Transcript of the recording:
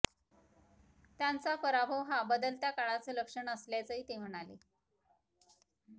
त्यांचा पराभव हा बदलत्या काळाचं लक्षण असल्याचंही ते म्हणाले